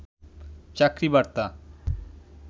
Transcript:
চাকরি বার্তা